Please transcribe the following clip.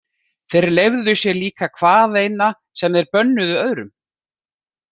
Þeir leyfðu sér líka hvaðeina sem þeir bönnuðu öðrum.